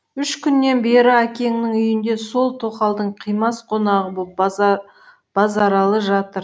үш күннен бері әкеңнің үйінде сол тоқалдың қимас қонағы боп базаралы жатыр